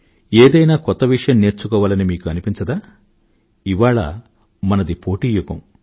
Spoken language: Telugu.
ఏదైనా కొత్త విషయం నేర్చుకోవాలని మీకు అనిపించదా ఇవాళ మనది పోటీ యుగం